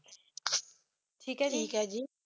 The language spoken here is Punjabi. ਠੀਕ ਐ ਠੀਕ ਐ ਜੀ